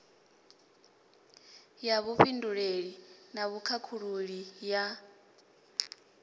ya vhufhinduleli na vhukhakhululi ya